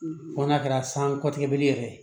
Fo n'a kɛra san kɔtigɛbeli yɛrɛ